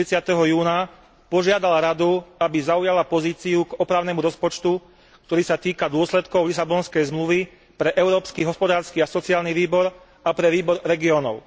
30. júna požiadal Radu, aby zaujala pozíciu k opravnému rozpočtu, ktorý sa týka dôsledkov Lisabonskej zmluvy pre Európsky hospodársky a sociálny výbor a pre Výbor regiónov.